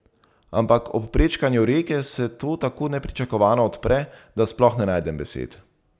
Ampak ob prečkanju reke se to tako nepričakovano odpre, da sploh ne najdem besed.